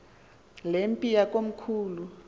le mpi yakomkhulu